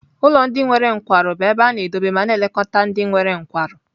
Ụlọ ndị nwere nkwarụ bụ ebe a na-edobe ma na-elekọta ndị nwere nkwarụ.